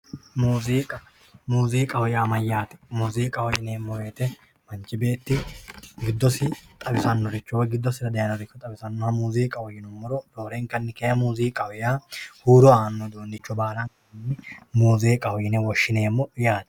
muuziiqa muziiqaho yaa mayyaate? muziiqaho yineemmo woyiite manchi beetti giddosinni xawisannoricho woyi giddosira dayiire xawisannoha roorenkanna huuro annore baala muziiqaho yine woshshineemmo yaate